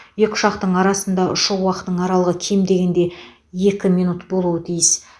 екі ұшақтың арасында ұшу уақытының аралығы кем дегенде екі минут болуы тиіс